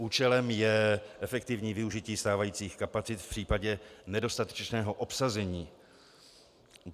Účelem je efektivní využití stávajících kapacit v případě nedostatečného obsazení.